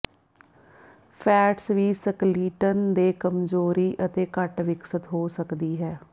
fats ਵੀ skeleton ਦੇ ਕਮਜ਼ੋਰੀ ਅਤੇ ਘੱਟ ਵਿਕਸਤ ਹੋ ਸਕਦੀ ਹੈ